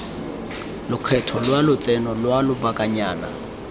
lekgetho la lotseno lwa lobakanyana